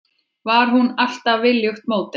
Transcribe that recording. Var hún alltaf viljugt módel?